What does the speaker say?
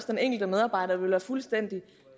den enkelte medarbejder vil være fuldstændig